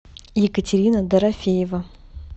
екатерина дорофеева